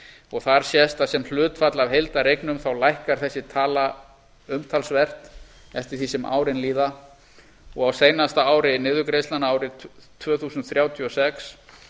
og þar sést að sem hlutfall af heildareignum lækkar þessi tala umtalsvert eftir því sem árin líða og á seinasta ári niðurgreiðslnanna árið tvö þúsund þrjátíu og sex